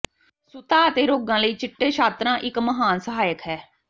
ਸੁੱਤਾ ਅਤੇ ਰੋਗਾਂ ਲਈ ਚਿੱਟੇ ਸ਼ਾਤਰਾ ਇੱਕ ਮਹਾਨ ਸਹਾਇਕ ਹੈ